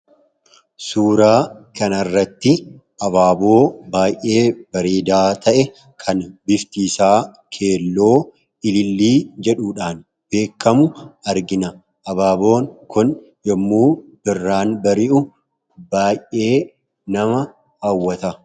suuraa kan arratti abaaboo baay'ee bariidaa ta'e kan biftiisaa keelloo ilillii jedhuudhaan beekkamu argina abaaboon kun yommuu birraan bari'u baayee nama aawwata